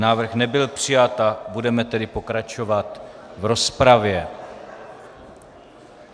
Návrh nebyl přijat, budeme tedy pokračovat v rozpravě.